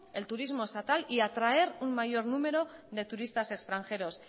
el turismo estatal y atraer un mayor número de turistas extranjeros